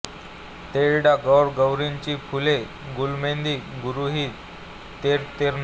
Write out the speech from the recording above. तेरडा गौर गौरीची फुले गुलमेंदी गौरीहू तेर तेरणा